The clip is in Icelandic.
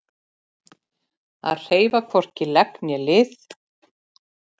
Að hreyfa hvorki legg né lið